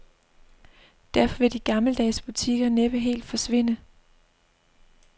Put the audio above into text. Derfor vil de gammeldags butikker næppe helt forsvinde.